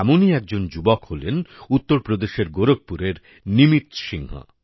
এমনই একজন যুবক হলেন উত্তর প্রদেশের গোরখপুরের নিমিত সিংহ